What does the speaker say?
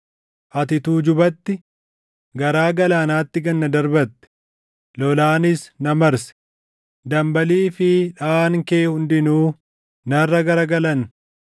Ati tuujubatti, garaa galaanaatti gad na darbatte; lolaanis na marse; dambalii fi dhaʼaan kee hundinuu narra garagalan.